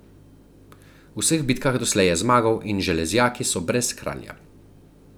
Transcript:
V vseh bitkah doslej je zmagal in železjaki so brez kralja.